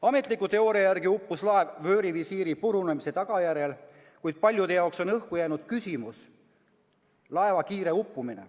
Ametliku teooria järgi uppus laev vöörivisiiri purunemise tagajärjel, kuid paljude jaoks on õhku jäänud küsimus laeva kiire uppumine.